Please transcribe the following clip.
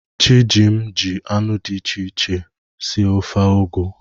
Chijim ji anụ dị iche iche sie ofe ugu.